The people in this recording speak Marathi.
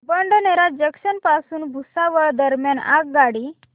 बडनेरा जंक्शन पासून भुसावळ दरम्यान आगगाडी